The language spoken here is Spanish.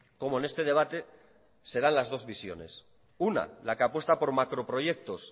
como en este debate se dan las dos visiones una la que apuesta por macroproyectos